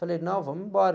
Falei, não, vamos embora.